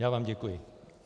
Já vám děkuji.